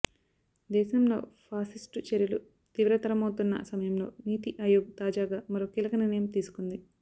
దేశంలో ఫాసిస్టు చర్యలు తీవ్రతరమవుతున్న సమయంలో నీతి ఆయోగ్ తాజాగా మరో కీలక నిర్ణయం తీసుకుంది